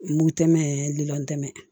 Mugu tɛmɛn lilɛn